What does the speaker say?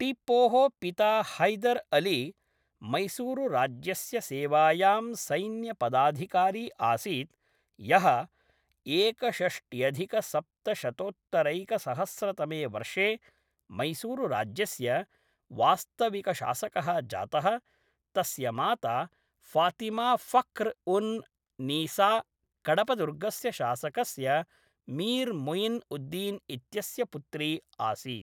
टीप्पोः पिता हैदर् अली, मैसूरुराज्यस्य सेवायां सैन्यपदाधिकारी आसीत्, यः एकषष्ट्यधिकसप्तशतोत्तरैकसहस्रतमे वर्षे मैसूरुराज्यस्य वास्तविकशासकः जातः ; तस्य माता फातिमा फख्र् उन् नीसा कडपदुर्गस्य शासकस्य मीर् मुयिन् उद्दीन् इत्यस्य पुत्री आसीत्।